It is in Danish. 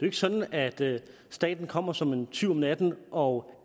ikke sådan at staten kommer som en tyv om natten og